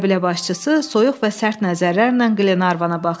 Qəbilə başçısı soyuq və sərt nəzərlərlə Qlenarvana baxdı.